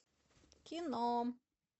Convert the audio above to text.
кино